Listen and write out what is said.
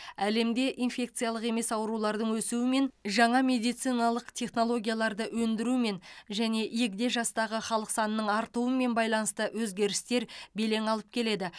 әлемде инфекциялық емес аурулардың өсуімен жаңа медициналық технологияларды ендірумен және егде жастағы халық санының артуымен байланысты өзгерістер белең алып келеді